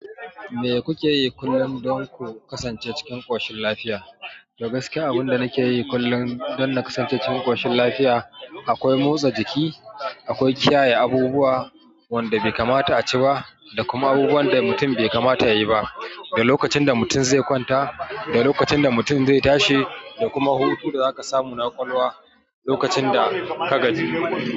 Me kuke yi kullum don ku kasance cikin ƙoshin lafiya? To gaskiya abinda nake yi kullum dan na kasance cikin ƙoshin lafiya akwai motsa jiki, akwai kiyaye abubuwa wanda bai kamata a ci ba da kuma abubuwan da mutum bai kamata yayi ba lokacin da mutum zai kwanta da lokacin da mutum zai tashi, da kuma hutun da zaka samu na ƙwaƙwalwa lokacin da ka gaji.